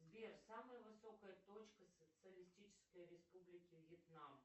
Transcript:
сбер самая высокая точка социалистической республики вьетнам